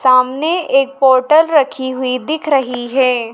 सामने एक पोर्टल रखी हुई दिख रही है।